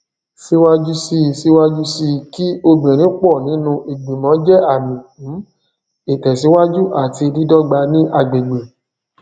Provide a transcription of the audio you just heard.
síwájú sí síwájú sí kí obìnrin pọ nínú ìgbìmọ jẹ àmì um ìtẹsíwájú àti dídọgba ní agbègbè